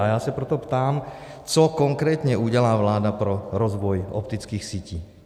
A já se proto ptám, co konkrétně udělá vláda pro rozvoj optických sítí.